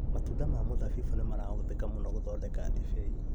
Matunda ma mũthabibũ nĩmarahũthĩka mũno gũthondeka ndibei